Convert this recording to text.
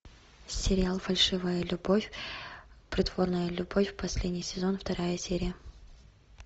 сериал фальшивая любовь притворная любовь последний сезон вторая серия